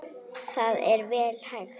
Það er vel hægt.